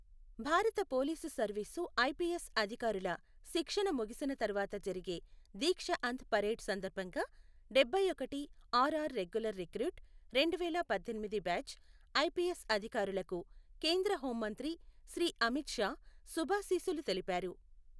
భారత police service IPS అధికారుల శిక్షణ ముగిసిన తరువాత జరిగే దీక్షఅంత్ పరేడ్ సందర్బంగా డబ్బైఒకటి ఆర్ఆర్ రెగ్యులర్ రిక్రూట్, రెండువేల పద్దెనిమిది బ్యాచ్ ఐపిఎస్ అధికారులకు కేంద్ర హోమ్ మంత్రి శ్రీ అమిత్ షా శుభాశీస్సులు తెలిపారు.